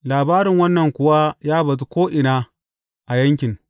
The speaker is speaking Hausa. Labarin wannan kuwa ya bazu ko’ina a yankin.